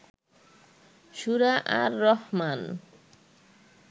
সুরা আর রহমান